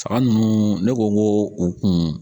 Faga nunnu ne ko n ko u kun